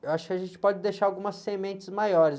Eu acho que a gente pode deixar algumas sementes maiores.